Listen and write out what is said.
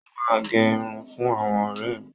Mo máa n gé irun fún àwọn ọrẹ mí